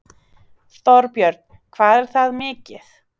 Þorbjörn: Hvað er það mikið?